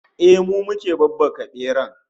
Ehh, mu muke babbaka beran